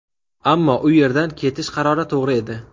Ammo u yerdan ketish qarori to‘g‘ri edi.